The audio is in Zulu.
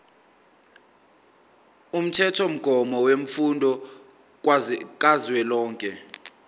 umthethomgomo wemfundo kazwelonke